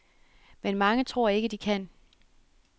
Men mange tror ikke, de kan.